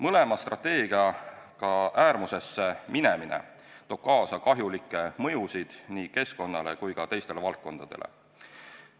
Mõlema strateegiaga äärmusesse minemine toob kaasa kahjulikke mõjusid nii keskkonnale kui ka teistele valdkondadele.